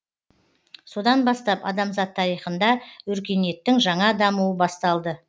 содан бастап адамзат тарихында өркениеттің жаңа дамуы басталды